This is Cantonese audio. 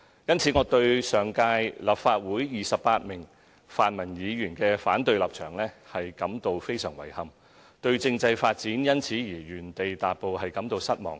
因此，我對上屆立法會28名泛民議員的反對立場，感到非常遺憾，對政制發展因此而原地踏步，感到失望。